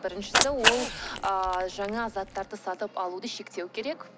біріншісі ол ыыы жаңа заттарды сатып алуды шектеу керек